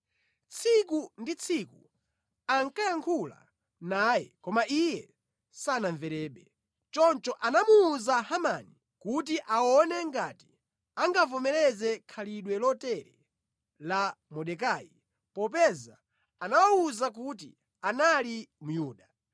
Tsiku ndi tsiku ankayankhula naye koma iye sanamverebe. Choncho anamuwuza Hamani kuti aone ngati angavomereze khalidwe lotere la Mordekai, popeza anawawuza kuti anali Myuda.